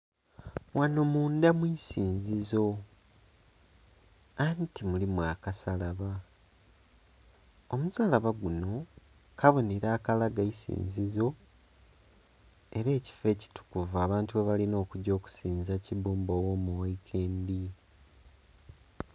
Ghano mundha mu isinzizo, anti mulimu akasalaba. Omusalaba guno kabonhero akalaga eisinzizo era ekifo ekitukuvu abantu ghebalina okugya okusinza Kibbumba Ogh'omuwaikendi.